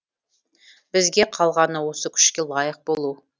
бізге қалғаны осы күшке лайық болу